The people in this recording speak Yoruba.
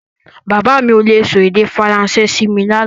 Bàbá mi ò le sọ èdè Faransé sí mi lánàá